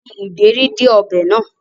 Fi ìdérí dé ọbẹ̀ náà